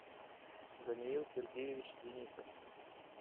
даниил сергеевич денисов